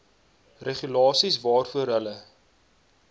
regulasies waarvoor hulle